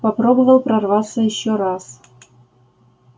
попробовал прорваться ещё раз